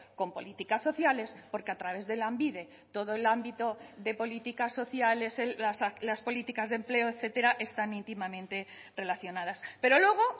con políticas sociales porque a través de lanbide todo el ámbito de políticas sociales las políticas de empleo etcétera están íntimamente relacionadas pero luego